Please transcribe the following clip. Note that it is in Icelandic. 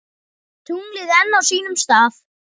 Tunglið enn á sínum stað.